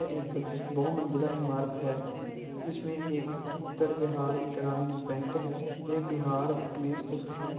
एक बहु मंज़िला ईमारत है जिसमें एक उत्तर बिहार ग्रामीण बैंक है| ये बिहार में स्तिथ है।